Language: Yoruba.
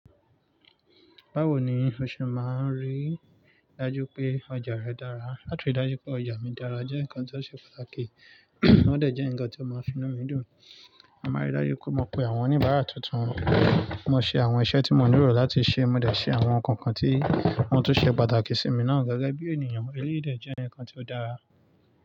Báwo ni o ṣe máa ń rí dájú pé ọjà rẹ dára? Láti ri dájú pé ọjà mi dára jẹ́ nǹkan tó ṣe pàtàkì, wọ́n ò dẹ̀ jẹ́ ǹkan tó máa finú mi dùn. Mo máa rí dájú pé mo pe àwọn oníbàárà tuntun, mo ṣe àwọn iṣẹ́ tí mo nílò láti ṣe, mo dẹ̀ ṣe àwọn ǹkan kan tí wọ́n tún ṣe pàtàkì sí mi náà gẹ́gẹ́ bí ènìyàn. Eléyìí dẹ́ jẹ́ ǹkan tí ó dára.